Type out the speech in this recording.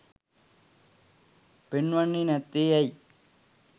පෙන්වන්නේ නැත්තේ ඇයි?